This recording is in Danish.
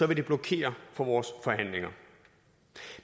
vil det blokere for vores forhandlinger